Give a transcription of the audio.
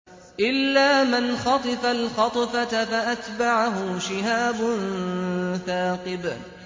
إِلَّا مَنْ خَطِفَ الْخَطْفَةَ فَأَتْبَعَهُ شِهَابٌ ثَاقِبٌ